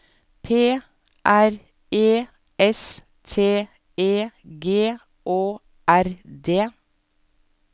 P R E S T E G Å R D